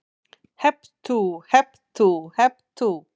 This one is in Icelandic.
Hep tú, hep tú, hep tú.